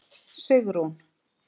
Sigrún